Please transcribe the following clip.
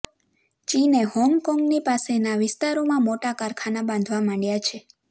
ચીને હોંગકોંગની પાસેના વિસ્તારોમાં મોટાં કારખાનાં બાંધવા માંડ્યાં છે